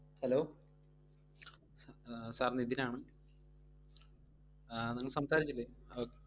Hello ആഹ് sir Nithin ആണ് നിങ്ങൾ സംസാരിച്ചില്ലെ